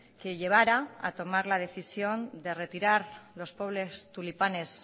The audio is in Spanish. que llevara a tomar la decisión de retirar los pobres tulipanes